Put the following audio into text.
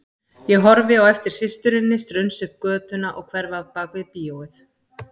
Ég horfi á eftir systurinni strunsa upp götuna og hverfa bak við bíóið.